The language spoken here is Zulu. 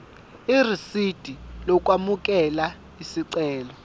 irisidi lokwamukela isicelo